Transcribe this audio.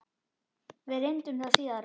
Við reyndum það síðara!